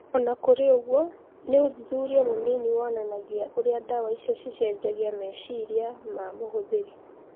Ona kũrĩ ũguo nĩ ũthuthuria mũnini wonanagia ũria ndawa icio cicenjagia meciria ma mũhũtheri